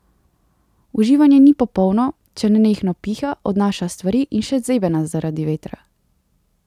Uživanje ni popolno, če nenehno piha, odnaša stvari in še zebe nas zaradi vetra.